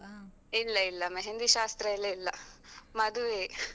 ಇಲ್ಲ ಇಲ್ಲ मेहँदी ಶಾಸ್ತ್ರಯೆಲ್ಲ ಇಲ್ಲ, ಮದುವೆಯೆ.